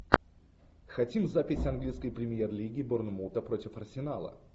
хотим запись английской премьер лиги борнмута против арсенала